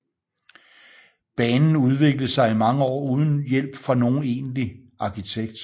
Banen udviklede sig i mange år uden hjælp fra nogen egentlig arkitekt